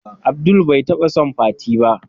Abdul bai taba son fati ba.